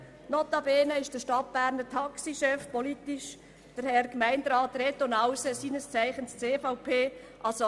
Notabene ist der Stadtberner Taxichef Reto Nause, seines Zeichens CVP-Mitglied, der politisch harte Gemeinderat.